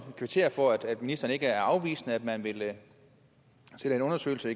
kvittere for at ministeren ikke er afvisende altså at man vil sætte en undersøgelse af